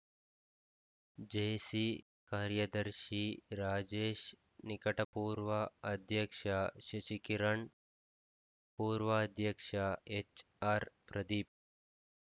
JC ಕಾರ್ಯದರ್ಶಿ ರಾಜೇಶ್‌ ನಿಕಟಪೂರ್ವ ಅಧ್ಯಕ್ಷ ಶಶಿಕಿರಣ್‌ ಪೂರ್ವಾಧ್ಯಕ್ಷ ಎಚ್‌ಆರ್‌ ಪ್ರದೀಪ್‌